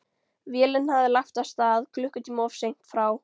Vélin hafði lagt að stað klukkutíma of seint frá